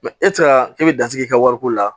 e tɛ se ka e bɛ datigi i ka wariko la